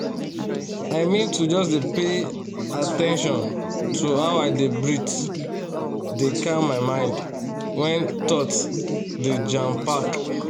i mean to just dey pay at ten tion to how i dey breathe dey calm my mind when thoughts dey jam-pack